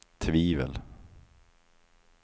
tvivel